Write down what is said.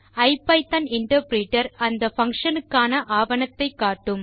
ஐபிதான் interpreter அந்த function க்கான ஆவணத்தை காட்டும்